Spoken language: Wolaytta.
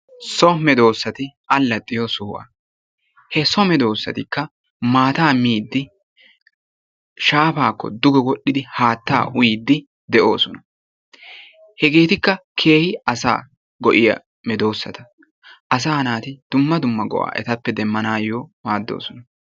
So medossatti alaxiyoo sohuwaa, he so medosattikka maata miidi shaapakko dugge wodhdhid haattaa uyiyiddi de'oosona. Hegettikka keehi asa go'iyaa medosatta. Asaa naati dumma dumma go'aa ettappe demaanayo go'ossona.